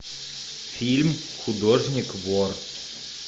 фильм художник вор